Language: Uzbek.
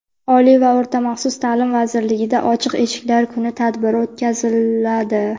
Oliy va o‘rta maxsus taʼlim vazirligida "Ochiq eshiklar kuni" tadbiri o‘tkaziladi.